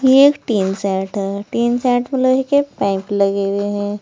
ये एक tin set है। टीन सेट में लोहे के पाइप लगी हुए हैं।